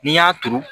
N'i y'a turu